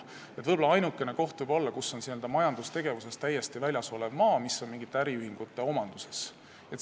Võib-olla ainukene võimalik maksustamiskoht võib olla n-ö majandustegevusest täiesti väljas olev maa, mis on mingite äriühingute omanduses.